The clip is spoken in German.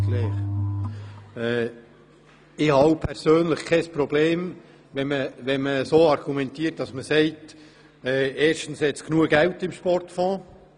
Erstens habe ich persönlich kein Problem damit, wenn man argumentiert, es habe genügend Geld im Sportfonds.